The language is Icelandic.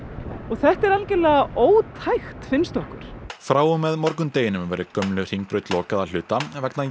þetta er algjörlega ótækt finnst okkur frá og með morgundeginum verður gömlu Hringbraut lokað að hluta vegna